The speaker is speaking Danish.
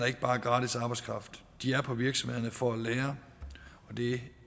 ikke bare gratis arbejdskraft de er på virksomhederne for at lære og det